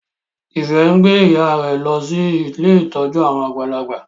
Ife ngbé ìyá rẹ ló sì Ilé ìtọjú àwọn àgbàlagbà.